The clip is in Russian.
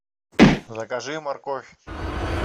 закажи морковь